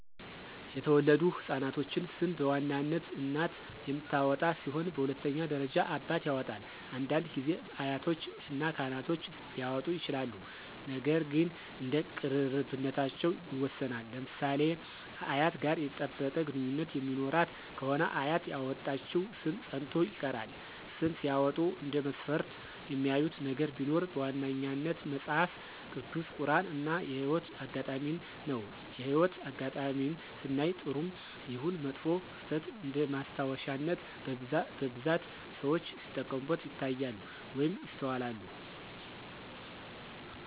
የተወለዱ ህፃናቶችን ሰም በዋናነት እናት የምታወጣ ሲሆን በሁለተኛ ደረጃ አባት ያወጣል፤ አንዳንድ ጊዜ አያቶች እና ካህኖች ሊያወጡ ይችላሉ ነገር ግን እንደ ቅርርብነታቸው ይወሰናል። ለምሳሌ ከአያት ጋር የጠበቀ ግንኙነት የሚኖራት ከሆነ አያት ያወጣችው ሰም ፀንቶ ይቀራል። ስም ሲያወጡ እንደ መስፈርት የሚያዩት ነገር ቢኖር በዋነኛነት መጸሐፍ ቅዱስ፣ ቁራን እና የህይወት አጋጣሜን ነው። የህይወት አጋጣሜን ስናይ ጥሩም ይሁን መጥፎ ክስተት እንደማስታወሻነት በብዛት ሰዎች ሲጠቀሙበት ይታያሉ ወይም ይስተዋላሉ።